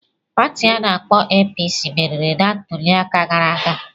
Pati ana-akpo APC meriri na ntuliaka gara aga.